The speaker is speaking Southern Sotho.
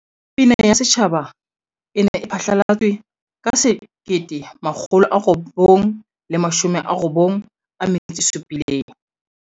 Pina ya Setjhaba e ne e phatlalatswe ka 1997.